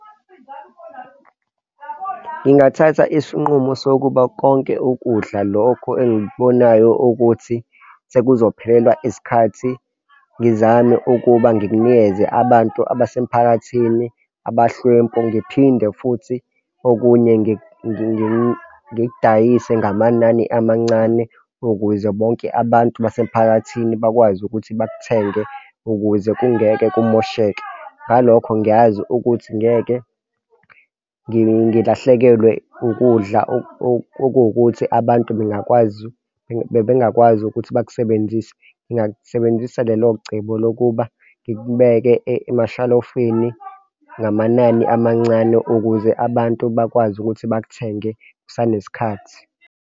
Ngingathatha isinqumo sokuba konke ukudla, lokho engikubonayo ukuthi sekuzophelelwa isikhathi. Ngizame ukuba ngikunikeze abantu basemphakathini abahlwempu, ngiphinde futhi, okunye ngikudayise ngamanani amancane, ukuze bonke abantu basemphakathini bakwazi ukuthi bakuthenge ukuze kungeke kumosheke ngalokho ngiyazi ukuthi ngeke ngilahlekelwe ukudla okuwukuthi abantu bengakwazi bebengakwazi ukuthi bakusebenzise. Ngingasebenzisa lelo cebo lokuba ngikubeke emashalofini ngamanani amancane ukuze abantu bakwazi ukuthi bakuthenge kusanesikhathi.